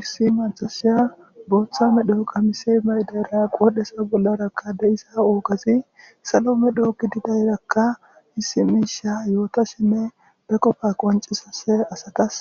Issi maxasiya booththame dhooqa mise maydera qoodhesa bollarakka deiza oogasi salome dhooki didayrakka misimisha yoota sheme be qofa qoncisase asatas